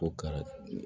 Ko ka